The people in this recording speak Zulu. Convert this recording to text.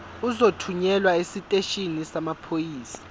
uzothunyelwa esiteshini samaphoyisa